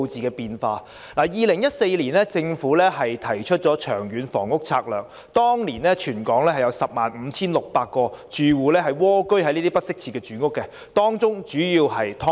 政府2014年提出了《長遠房屋策略》，當年全港有 105,600 個住戶蝸居於這些不適切住房，主要是"劏房"。